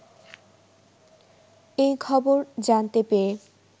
এই খবর জানতে পেয়ে